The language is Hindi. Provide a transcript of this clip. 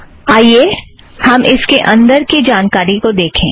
आईए हम इसके अंदर की जानकारी को देखें